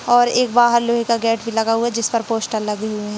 और एक बाहर लोहे का गेट भी लगा हुआ है जिस पर पोस्टर लगे हुए हैं।